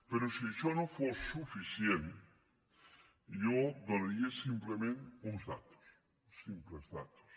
però si això no fos suficient jo donaria simplement unes dades simples dades